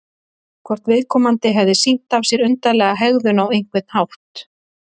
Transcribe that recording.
Hvort viðkomandi hefði sýnt af sér undarlega hegðun á einhvern hátt?